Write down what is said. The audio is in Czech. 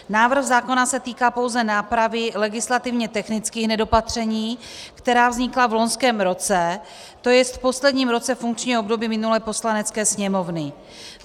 Návrh zákona se týká pouze nápravy legislativně technických nedopatření, která vznikla v loňském roce, tj. v posledním roce funkčního období minulé Poslanecké sněmovny.